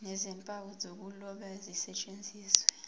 nezimpawu zokuloba zisetshenziswe